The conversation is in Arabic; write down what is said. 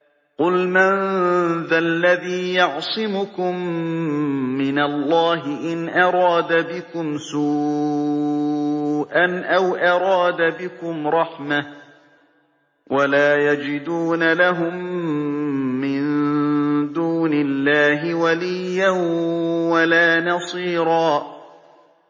قُلْ مَن ذَا الَّذِي يَعْصِمُكُم مِّنَ اللَّهِ إِنْ أَرَادَ بِكُمْ سُوءًا أَوْ أَرَادَ بِكُمْ رَحْمَةً ۚ وَلَا يَجِدُونَ لَهُم مِّن دُونِ اللَّهِ وَلِيًّا وَلَا نَصِيرًا